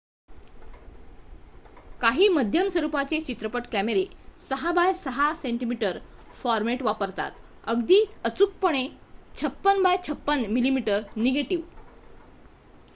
काही मध्यम स्वरुपाचे चित्रपट कॅमेरे 6 बाय 6 cm फॉर्मॅट वापरतात अगदी अचूकपणे 56 बाय 56 mm निगेटिव्ह